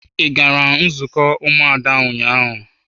Ị gara nzukọ ụmụada ụnyaahụ?